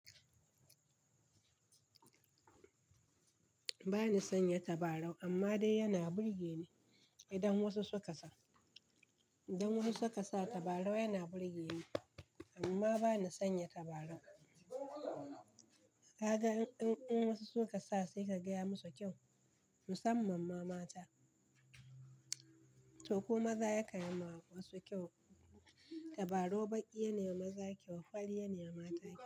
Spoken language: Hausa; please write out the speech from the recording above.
Ba ni sanya tabarau amma dai yana burge ni idan wasu suka sa. Idan wasu suka sa tabarau yana burge ni amma ba ni sanya tabarau. Kaga in wasu suka sa sai ka gaya musu kyau, musamman ma mata. To ko maza ya kan yi ma wasu kyau. Tabarau baƙi yana yi wa maza kyau, farli yana yi wa mata kyau.